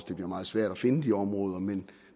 det bliver meget svært at finde de områder men